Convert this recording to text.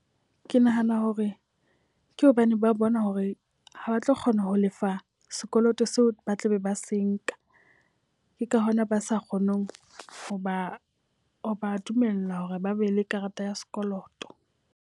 Ke nahana hore ke hobane ba bona hore ha ba tlo kgona ho lefa sekoloto seo, ba tlabe ba se nka. Ke ka hona ba sa kgoneng ho ba ha ba dumella hore ba be le karata ya sekoloto.